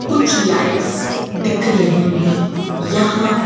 कुछ लाइट्स दिख रही हैं यहां--